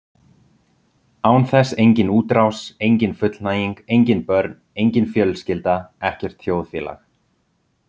Án þess engin útrás, engin fullnæging, engin börn, engin fjölskylda, ekkert þjóðfélag.